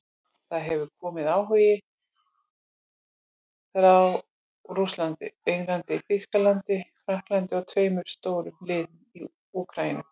Það hefur komið áhugi frá Rússlandi, Englandi, Þýskalandi Frakklandi og tveimur stórum liðum í Úkraínu.